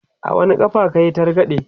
a wani ƙafa kayi targaɗe?